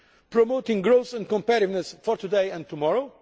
promoting growth and competitiveness for today and tomorrow